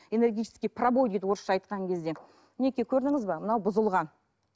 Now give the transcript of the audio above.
энергетический пробой дейді орысша айтқан кезде мінекей көрдіңіз бе мынау бұзылған